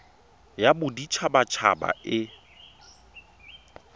ya bodit habat haba e